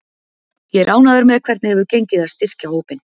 Ég er ánægður með hvernig hefur gengið að styrkja hópinn.